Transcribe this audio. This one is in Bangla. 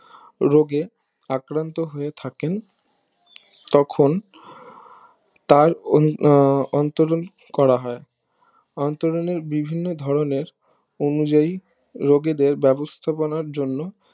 রোগে আক্রান্ত হয়ে থাকেন তখন তার অন্তরন করা হয় অন্তরণের বিভিন্ন ধরণের অনুযায়ী রুগীদের ব্যবস্থা পনার জন্য